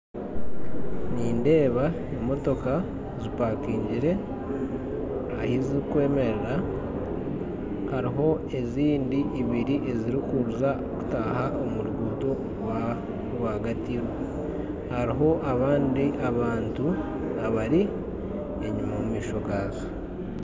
Nindeeba emotoka zipakingire ahu zirikwemerera, hariho ezindi ibiri ezirikutaaha omu ruguuto rwa rwagati, hariho abandi abantu abari omumaisho gaazo.